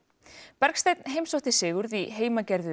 Bergsteinn heimsótti Sigurð í heimagerðu